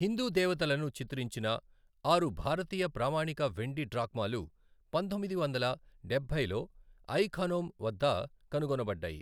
హిందూ దేవతలను చిత్రించిన ఆరు భారతీయ ప్రామాణిక వెండి డ్రాక్మాలు పంతొమ్మిది వందల డబ్బైలో ఐ ఖనౌమ్ వద్ద కనుగొనబడ్డాయి.